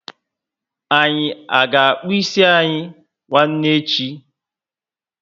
Anyị a ga akpu ịsị anyị nwanne echi?